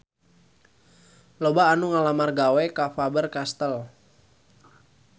Loba anu ngalamar gawe ka Faber Castel